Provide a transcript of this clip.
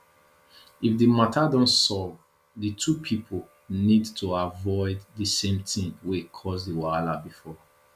if di matter don solve di two pipo need to avoid di same thing wey cause di wahala before